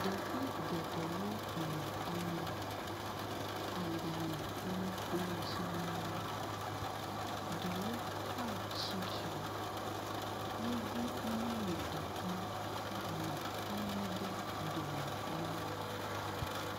Ɖevi geɖewo nɔ anyi. Agbale yi le kplɔ dzi na wo. Ɖewo hã tsitre. Yevu nyɔnu ɖeka nɔ anyi ɖe dome na wo.